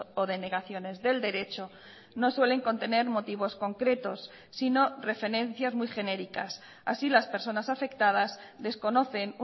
o denegaciones del derecho no suelen contener motivos concretos sino referencias muy genéricas así las personas afectadas desconocen